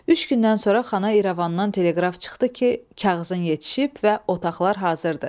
Üç gündən sonra xana İrəvandan teleqraf çıxdı ki, kağızın yetişib və otaqlar hazırdır.